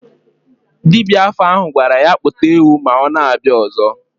Dibia afa ahụ gwara ya kpụta ewu ma ọ na-abịa ọzọ.